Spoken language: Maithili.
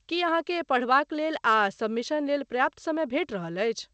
की अहाँकेँ पढ़बाकलेल आ सबमिशन लेल पर्याप्त समय भेटि रहल अछि?